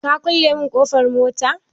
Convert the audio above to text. Ka kulle mun ƙofar mota?